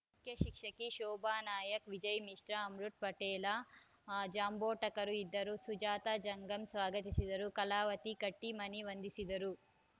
ಮುಖ್ಯ ಶಿಕ್ಷಕಿ ಶೋಭಾ ನಾಯಕ ವಿಜಯ ಮಿಶ್ರಾ ಅಮೃತ ಪಟೇಲ ಜಾಂಬೋಟಕರ ಇದ್ದರು ಸುಜಾತಾ ಜಂಗಮ್ ಸ್ವಾಗತಿಸಿದರು ಕಲಾವತಿ ಕಟ್ಟಿಮನಿ ವಂದಿಸಿದರು